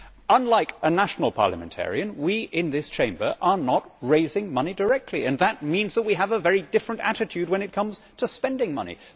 Unlike a national parliamentarian, we in this Chamber are not raising money directly and that means that we have a very different attitude when it comes to spending money.